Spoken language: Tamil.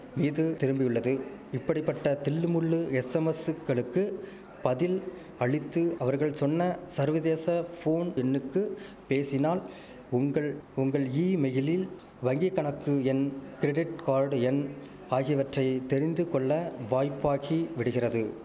மீது திரும்பியுள்ளது இப்படி பட்ட தில்லுமுல்லு எஸ்ஸமஸ்ஸுக்களுக்கு பதில் அளித்து அவர்கள் சொன்ன சர்வதேச போன் எண்ணுக்கு பேசினால் உங்கள் உங்கள் ஈமெயிலில் வங்கி கணக்கு எண் கிரிடிட்கார்டு எண் ஆகியவற்றை தெரிந்துகொள்ள வாய்ப்பாகி விடுகிறது